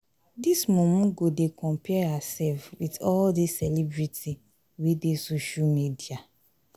dis mumu go dey compare hersef wit all dis celebrity wey dey social media.